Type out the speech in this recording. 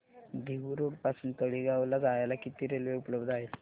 Dehu road पासून तळेगाव ला जायला किती रेल्वे उपलब्ध आहेत